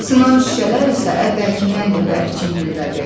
Sınan şüşələr isə əvvəlkindən də bərk çingildədi.